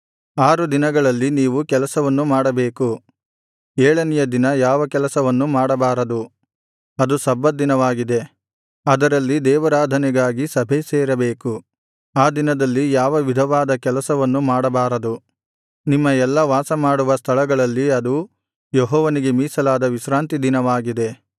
ಆರು ದಿನಗಳಲ್ಲಿ ನೀವು ಕೆಲಸವನ್ನು ಮಾಡಬೇಕು ಏಳನೆಯ ದಿನ ಯಾವ ಕೆಲಸವನ್ನು ಮಾಡಬಾರದು ಅದು ಸಬ್ಬತ್ ದಿನವಾಗಿದೆ ಅದರಲ್ಲಿ ದೇವಾರಾಧನೆಗಾಗಿ ಸಭೆಸೇರಬೇಕು ಆ ದಿನದಲ್ಲಿ ಯಾವ ವಿಧವಾದ ಕೆಲಸವನ್ನು ಮಾಡಬಾರದು ನಿಮ್ಮ ಎಲ್ಲಾ ವಾಸಮಾಡುವ ಸ್ಥಳಗಳಲ್ಲಿ ಅದು ಯೆಹೋವನಿಗೆ ಮೀಸಲಾದ ವಿಶ್ರಾಂತಿ ದಿನವಾಗಿದೆ